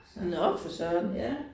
Nåh for Søren